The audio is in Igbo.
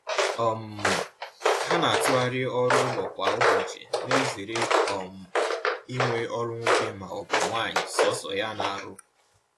um Ha na-atughari ọrụ ụlọ kwa ụbọchị, na ezere um inwe ọrụ nwoke ma ọ bụ nwanyi sọsọ ya na arụ